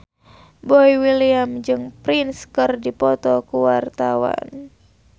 Boy William jeung Prince keur dipoto ku wartawan